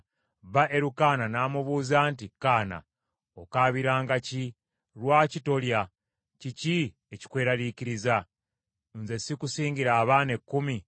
Bba Erukaana n’amubuuza nti, “Kaana, okaabiranga ki? Lwaki tolya? Kiki ekikweraliikiriza? Nze sikusingira abaana ekkumi?”